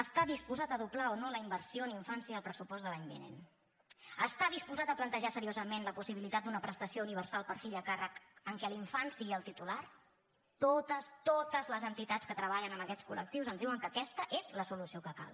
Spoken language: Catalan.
està disposat a doblar o no la inversió en infància i el pressupost de l’any vinent està disposat a plantejar seriosament la possibilitat d’una prestació universal per fill a càrrec en què l’infant sigui el titular totes totes les entitats que treballen amb aquests col·lectius ens diuen que aquesta és la solució que cal